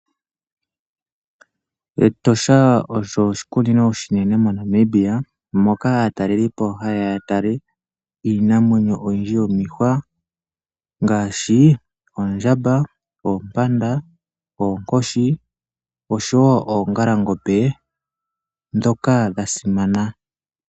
Metosha Osho oshikunino oshinene monamibia moka atalelipo haya yatale iinamwenyo oyindji yomokuti ngashi oondjamba, oonkoshi ,oompanda oshowo ongalangombe dhoka dhasimana.